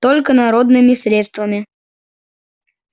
только народными средствами